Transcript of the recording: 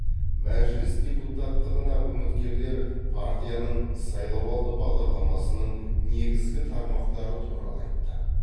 мәжіліс депутаттығына үміткерлер партияның сайлауалды бағдарламасының негізгі тармақтары туралы айтты